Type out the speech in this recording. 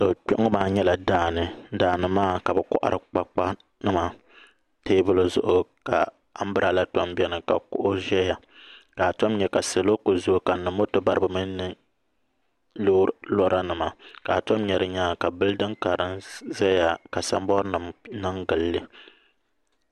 Kpɛ ŋo maa nyɛla daani ka bi kohari kpakpa teebuli zuɣu ka anbirala tom biɛni ka kuɣu ʒɛya ka a tom nya ka salo kuli zooi kanna moto baribi mini lora nima ka a tom nyɛ di nyaanga ka bildin kara ʒɛya ka sanbood nim niŋ gilli